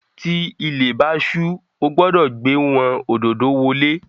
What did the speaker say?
Tí ilé bá su o gbódò gbé wón ododo wolè